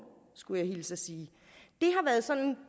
skulle jeg hilse og sige